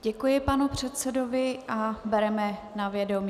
Děkuji panu předsedovi a bereme na vědomí.